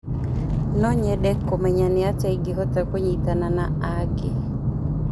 No nyende kũmenya nĩ atĩa ingĩhota kũnyitana na angĩ.